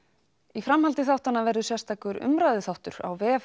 í framhaldi þáttanna verður sérstakur umræðuþáttur á vef